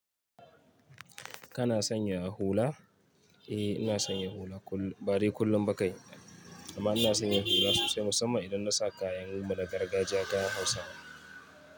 Kana sanya hula? Eh, ina sanye hula kullum, ba dai kullum ba kai. Amma ina sanya hula sosai musamman idan na sa kayan mu na gargajiya kayan Hausawa.